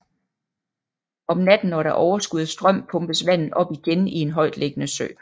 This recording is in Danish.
Om natten når der er overskud af strøm pumpes vandet op igen i en højtliggende sø